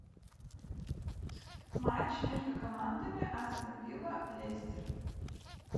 матч между командами астон вилла лестер